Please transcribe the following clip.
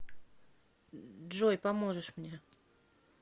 джой поможешь мне